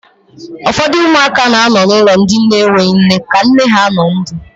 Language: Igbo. Ụfọdụ ụmụaka na anọ n'ulọ ndị enwe nne ka nne ha nọ ndụ.